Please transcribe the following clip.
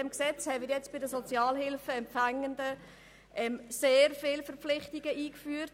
Im Gesetz haben wir für die Sozialhilfeempfangenden sehr viele Verpflichtungen eingeführt.